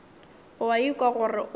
o a ikwa gore o